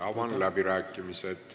Avan läbirääkimised.